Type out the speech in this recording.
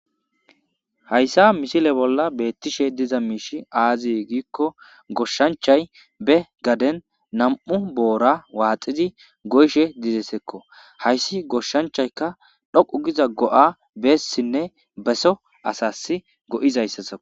hayssa misile bolla beettishe diza miishi aazi giikko goshshanchay be gaden nam7u boora waaxizi goyshe dizesekko hayssi goshshanchaykka dhoqu giza go7a beessinne beso asas go7izayssasa